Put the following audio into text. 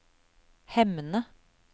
Hemne